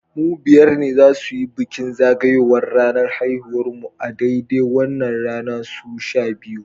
Mu biyar ne za su yi bikin zagayowar ranar haihuwar mu a daidai wannan rana su sha biyu